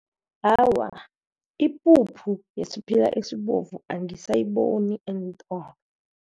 Awa, ipuphu yesiphila esibovu angisiboni eentolo.